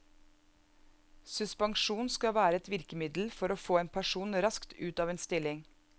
Suspensjon skal være et virkemiddel for å få en person raskt ut av en stilling.